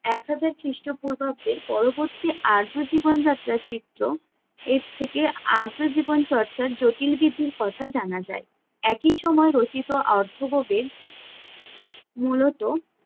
একহাজার খ্রিস্টপূর্বাব্দের পরবর্তী আর্য জীবনযাত্রার চিত্র এর থেকে আর্য জীবন চর্চার জটিল বিধির কথা জানা যায়। একই সময় রচিত অর্থব বেদ মূলত